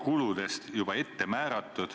Palun küsimus!